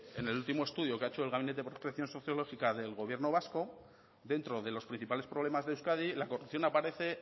en el último estudio que ha hecho el gabinete de prospección sociológica del gobierno vasco dentro de los principales problemas de euskadi la corrupción aparece